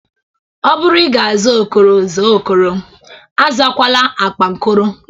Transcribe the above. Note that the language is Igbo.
Ọ bụrụ ị ga-aza Okoro, zaa Okoro. Azakwala akpankoro!